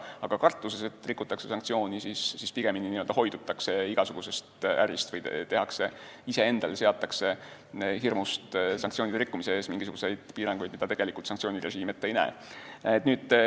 Aga kartuses, et rikutakse sanktsioone, hoidutakse igasugusest ärist või iseendale seatakse hirmust sanktsioonide rikkumise ees mingisuguseid piiranguid, mida tegelikult sanktsioonirežiim ette ei näe.